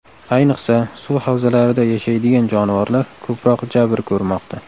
Ayniqsa, suv havzalarida yashaydigan jonivorlar ko‘proq jabr ko‘rmoqda.